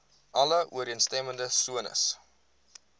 alle ooreenstemmende sones